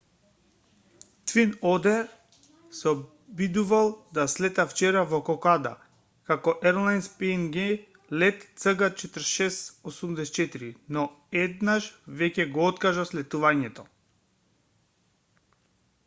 твин отер се обидувал да слета вчера во кокода како ерлајнс пнг лет цг4684 но еднаш веќе го откажа слетувањето